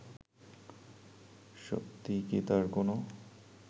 সত্যিই কি তার কোন